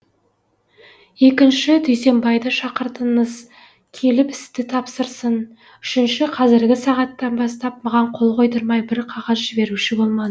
екінші дүйсенбайды шақыртыңыз келіп істі тапсырсын үшінші қазіргі сағаттан бастап маған қол қойдырмай бір қағаз жіберуші болмаң